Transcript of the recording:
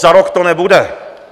Za rok to nebude.